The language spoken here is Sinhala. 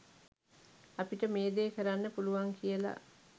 අපිට මේ දේ කරන්න පුළුවන් කියලා